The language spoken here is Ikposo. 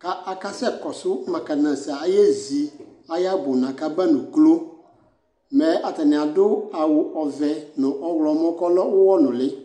k'aka sɛ kɔsu mɛkanizɛ aye zi ayi ɛbuna k'aba n'uklo mɛ atani adu awu ɔvɛ no ɔwlɔmɔ k'ɔlɛ uwɔ nuli